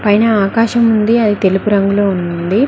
పైన ఆకాశం ఉంది అది తెలుపు రంగులో ఉంది.